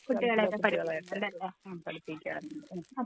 ആ പഠിപ്പിക്കാറുണ്ട്.